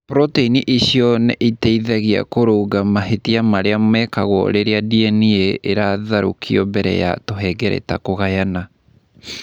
Protein icio nĩ iteithagia kũrũnga mahĩtia marĩa mekagwo rĩrĩa DNA ĩratharũrũkio mbere ya tũhengereta kũgayana.